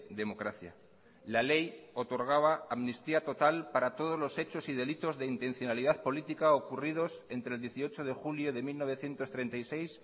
democracia la ley otorgaba amnistía total para todos los hechos y delitos de intencionalidad política ocurridos entre el dieciocho de julio de mil novecientos treinta y seis